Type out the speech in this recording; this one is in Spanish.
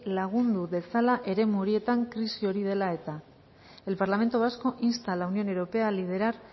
lagundu dezala eremu horietan krisi hori dela eta el parlamento vasco insta a la unión europea a liberar